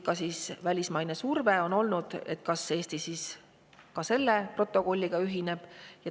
Ka välismaine surve on olnud, et kas ka Eesti selle protokolliga ühineb.